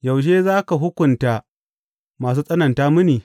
Yaushe za ka hukunta masu tsananta mini?